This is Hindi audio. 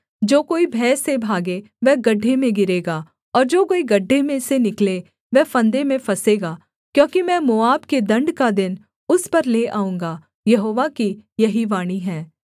जो कोई भय से भागे वह गड्ढे में गिरेगा और जो कोई गड्ढे में से निकले वह फंदे में फँसेगा क्योंकि मैं मोआब के दण्ड का दिन उस पर ले आऊँगा यहोवा की यही वाणी है